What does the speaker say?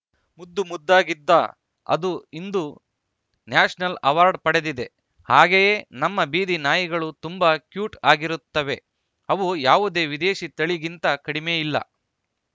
ಮುದ್ದು ಮುದ್ದಾಗಿದ್ದ ಅದು ಇಂದು ನ್ಯಾಷನಲ್‌ ಅವಾರ್ಡ್‌ ಪಡೆದಿದೆ ಹಾಗೆಯೇ ನಮ್ಮ ಬೀದಿ ನಾಯಿಗಳು ತುಂಬಾ ಕ್ಯೂಟ್‌ ಆಗಿರುತ್ತವೆ ಅವು ಯಾವುದೇ ವಿದೇಶಿ ತಳಿಗಿಂತ ಕಡಿಮೆ ಇಲ್ಲ